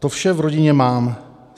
To vše v rodině mám.